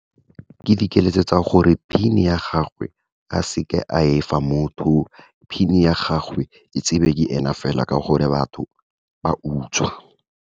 Ke dikeletso tsa gore, PIN ya gagwe a seka a efa motho. PIN ya gagwe, e tsebe ke ena fela, ka gore batho ba utswa.